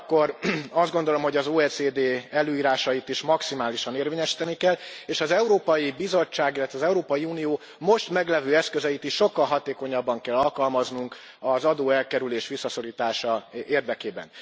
Ugyanakkor azt gondolom, hogy az OECD előírásait is maximálisan érvényesíteni kell, és az Európai Bizottság, illetve az Európai Unió most meglévő eszközeit is sokkal hatékonyabban kell alkalmaznunk az adóelkerülés visszaszorítása érdekében.